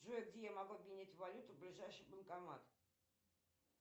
джой где я могу обменять валюту ближайший банкомат